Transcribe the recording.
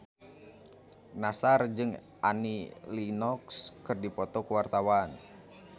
Nassar jeung Annie Lenox keur dipoto ku wartawan